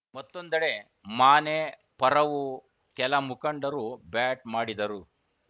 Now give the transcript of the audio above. ಮತ್ತೊಂದೆಡೆ ಮಾನೆ ಪರವೂ ಕೆಲ ಮುಖಂಡರು ಬ್ಯಾಟ್‌ ಮಾಡಿದರು